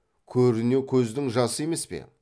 көрінеу көздің жасы емес пе